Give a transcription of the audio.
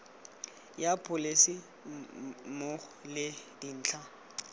ya pholese mmogo le dintlha